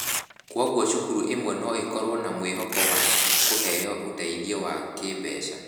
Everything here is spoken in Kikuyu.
Kwoguo cukuru imwe no ikorũo na mwĩhoko wa kũheo ũteithio wa kĩĩmbeca.